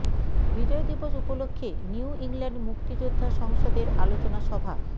বিজয় দিবস উপলক্ষে New England মুক্তিযোদ্ধা সংসদের আলোচনা সভা